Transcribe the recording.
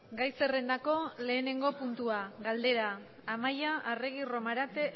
gai zerrendako lehenengo puntua galdera amaia arregi romarate